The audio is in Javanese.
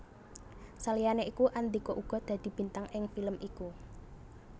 Saliyané iku Andhika uga dadi bintang ing film iku